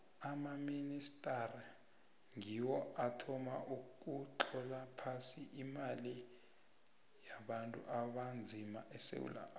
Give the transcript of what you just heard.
amamitjhnari ngiwo athoma ukutlola phasi amalimi wabantu abanzima esewula afrika